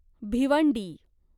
Bhiwandi